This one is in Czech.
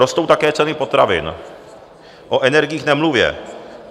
Rostou také ceny potravin, o energiích nemluvě.